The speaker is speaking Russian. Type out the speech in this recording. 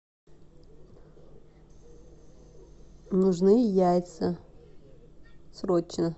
нужны яйца срочно